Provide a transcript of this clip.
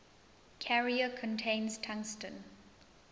carrier contains tungsten